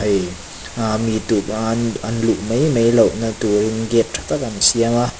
hei ah mi tumah an an luh mai mai loh na turin gate tha tak an siam a.